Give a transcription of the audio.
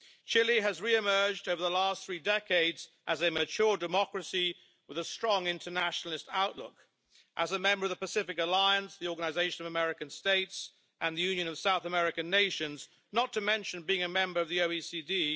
Chile has re emerged over the last three decades as a mature democracy with a strong internationalist outlook. As a member of the Pacific Alliance, the Organisation of American States and the Union of South American Nations, not to mention being a member of the OECD.